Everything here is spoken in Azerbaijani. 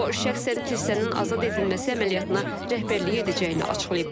O şəxsən kilsənin azad edilməsi əməliyyatına rəhbərlik edəcəyini açıqlayıb.